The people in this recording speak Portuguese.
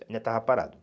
Ainda estava parado.